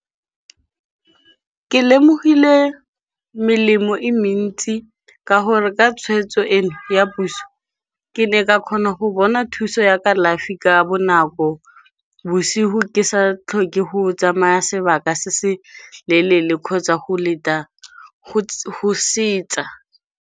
Ke lemogile melemo e mentsi ka gore ka tshweetso eno ya puso, ke ne ka kgona go bona thuso ya ka kalafi ka ka bonako. Bosigo ke sa tlhoke go tsamaya sebaka se se leeele kgotsa go leta go se tsa.